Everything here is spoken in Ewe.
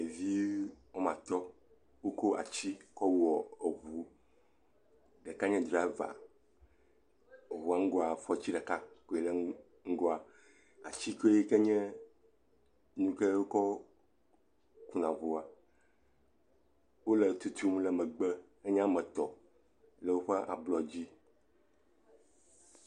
Ɖevi wome atɔ̃ woko atsi wokɔ wɔ eŋu. Ɖeka nye drava. Eŋua ŋgɔa, fɔtsi ɖeka koe le ŋgɔa. atsigo yi ke nye nu yi ke wokɔ kuna ŋua. Wole tutum ɖe megbe. Enye ame tɔ̃ le woƒe ablɔ dzi.